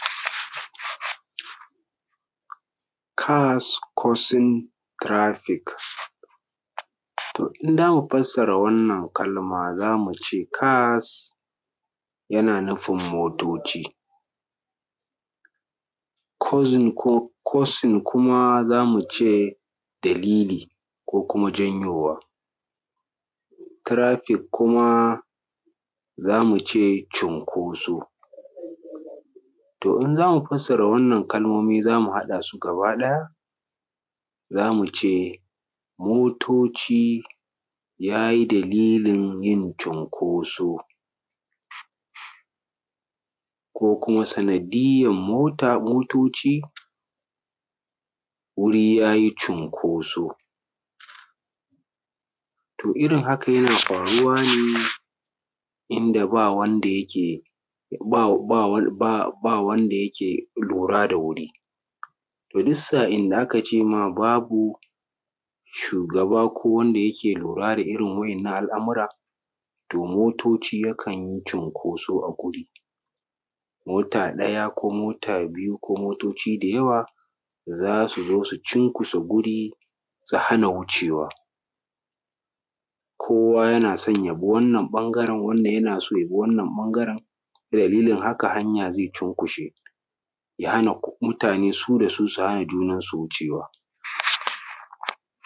Cars causing traffic to in za mu fassara wannan kalma za mu ce cars, yana nufin motoci. Causing kuma za mu ce dalili ko kuma janyowa. Traffic kuma za mu ce cunkoso in Wannan kalmomin za mu haɗa su gaba ɗaya za mu ce, motoci ya yi dalilin yin cinkoso ko kuma sanadiyar motoci wuri ya yi cinkoso. To irin haka yana faruwa ne inda ba wanda yake kula da wannan wuri. To duk sa'in da aka ce babu shugaba ko wanda yake lura da irin waɗannan abubuwa to motoci yakan yi cinkoso a ciki. Mota ɗaya ko mota biyu ko motoci da yawa za su zo su cinkushe guri su hana wucewa kowa yana son ya bi wannan ɓangaren wannan yana so ya bi wancen ɓangare ,dalilin haka hanya zai cunkushe ya hana mutane su da su ya hana wucewa